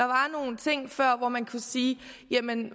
var nogle ting før hvor man kunne sige